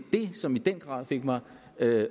det som i den grad fik mig